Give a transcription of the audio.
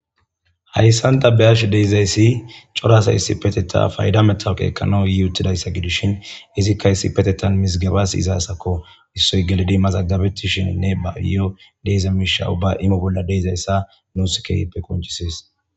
hayssanta beyash deizayssi corasa issi peteta payda metha qeekkano yi uttidayssa gidishin izikka issi petetan misgebas izaasakko issoy gelidi mazagabettishininne ba iyo deiza miisha ubba imo bolla deizayssa nuuskeyppe konchisis